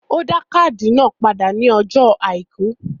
Ó dá káàdì náà padà ní ọjó àìkú